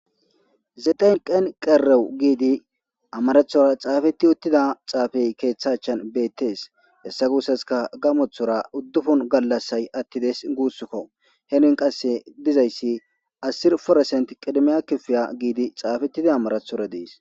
zeden qen qerewu giidi amarathora xaafetti uttida xaafey keeththa achan beettees hessa guussaska gamothora uddufun gallassay attides guussukko he nun qasse dizayssi asir foresent qidemiya kifiya giidi xaafettida amarathora dees